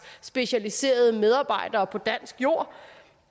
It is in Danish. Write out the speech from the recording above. specialiserede medarbejdere på dansk jord